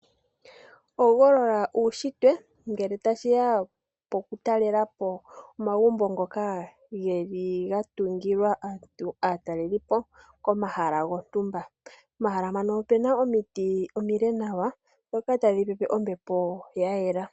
Hogolola uushitwe ngele tashiya poku talelapo omagumbo ngoka geli gatungilwa aatalelipo komahala gontumba ,omahala ngano opena omiti omile nawa dhoka hadhi pepe ombepo yayela.